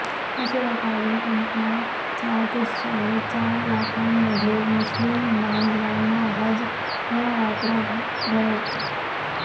याशिवाय खासगी कंपन्या चार ते साडेचार लाखांमध्ये मुस्लीम बांधवांना हज यात्रा घडवते